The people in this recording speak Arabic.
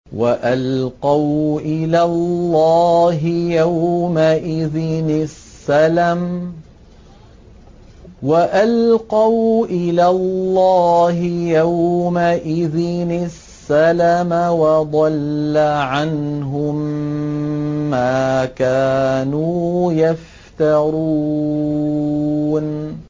وَأَلْقَوْا إِلَى اللَّهِ يَوْمَئِذٍ السَّلَمَ ۖ وَضَلَّ عَنْهُم مَّا كَانُوا يَفْتَرُونَ